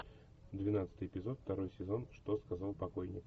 двенадцатый эпизод второй сезон что сказал покойник